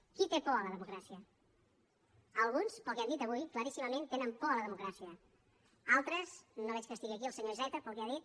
qui té por a la democràcia alguns pel que han dit avui claríssimament tenen por a la democràcia altres no veig que estigui aquí el senyor iceta pel que ha dit